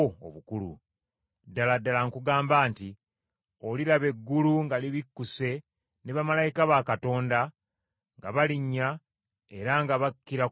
Ddala ddala nkugamba nti oliraba eggulu nga libikkuse ne bamalayika ba Katonda nga balinnya era nga bakkira ku Mwana w’Omuntu.”